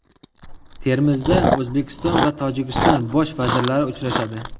Termizda O‘zbekiston va Tojikiston Bosh vazirlari uchrashadi.